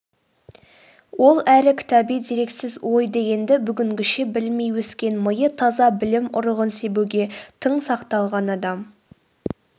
ол әрі кітаби дерексіз ой дегенді бүгінгіше білмей өскен миы таза білім ұрығын себуге тың сақталған адам